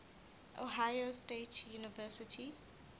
ohio state university